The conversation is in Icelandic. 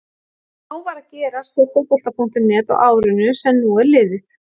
Nóg var að gerast hjá Fótbolta.net á árinu sem nú er liðið.